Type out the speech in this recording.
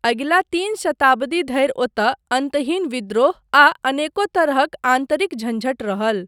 अगिला तीन शताब्दी धरि ओतय अन्तहीन विद्रोह आ अनेको तरहक आन्तरिक झञ्झट रहल।